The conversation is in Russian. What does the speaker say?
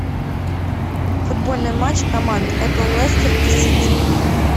футбольный матч команд апл лестер и сити